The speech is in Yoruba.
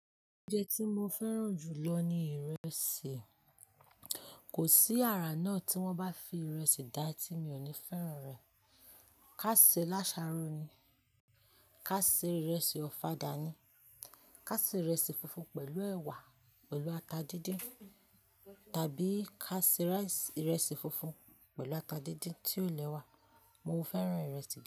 Oúnjẹ tí mo fẹ́ràn jù lọ ni ìrẹsì. Kò sí àrà náà tí wọ́n bá fi ìrẹsì dá tí mi ò ní fẹ́ràn rẹ̀. Ká ṣe lásáro ni, ká ṣe ìrẹsì ọ̀fadà ni, ká ṣe ìrẹsì funfun pẹ̀lú ẹ̀wà pẹ̀lú ata díndín tàbí ká ṣe ìrẹsì funfun pẹ̀lú ata díndín tí ò le wa. Mo fẹ́ràn ìrẹsì dá.